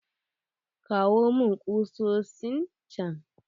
Kawo mun kusosin chan.